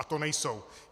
A to nejsou.